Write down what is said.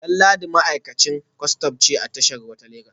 Danladi ma’aikacin kwastan ne a tashar ruwa ta Legas